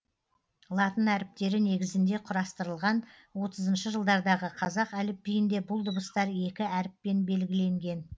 латын әріптері негізінде құрастырылған отызыншы жылдардағы қазақ әліпбиінде бұл дыбыстар екі әріппен белгіленген